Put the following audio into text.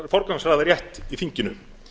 forgangsraða rétt í þinginu